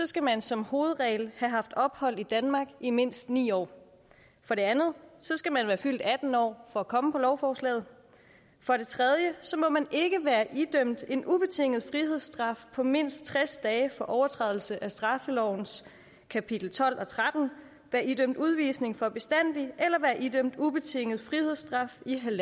skal man som hovedregel have haft ophold i danmark i mindst ni år for det andet skal man være fyldt atten år for at komme på lovforslaget for det tredje må man ikke være idømt en ubetinget frihedsstraf på mindst tres dage for overtrædelse af straffelovens kapitel tolv og tretten være idømt udvisning for bestandig eller være idømt ubetinget frihedsstraf i